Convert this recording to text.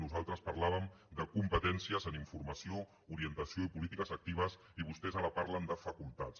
nosaltres parlàvem de competències en informació orientació i polítiques actives i vostès ara parlen de facultats